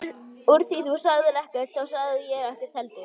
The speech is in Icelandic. Úr því þú sagðir ekkert þá sagði ég ekkert heldur.